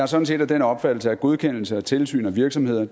sådan set af den opfattelse at godkendelse af og tilsyn med virksomheder